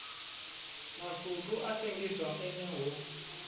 masutu a sengiswa ene ho